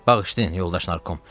Bağışlayın, yoldaş Narkom.